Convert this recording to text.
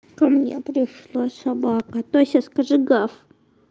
ко мне пришла собака тося скажи гав